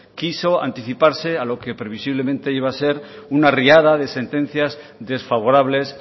quiso anticiparse a lo que previsiblemente iba a ser una riada de sentencias desfavorables